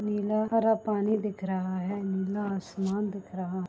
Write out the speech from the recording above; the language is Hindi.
नीला हरा पानी दिख रहा है नीला आसमान दिख रहा --